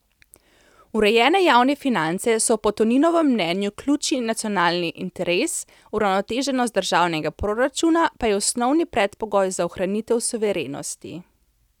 Urejene javne finance so po Toninovem mnenju ključni nacionalni interes, uravnoteženost državnega proračuna pa je osnovni predpogoj za ohranitev suverenosti.